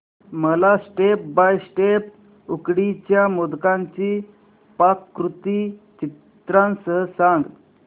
मला step by step उकडीच्या मोदकांची पाककृती चित्रांसह सांग